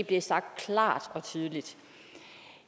blev sagt klart og tydeligt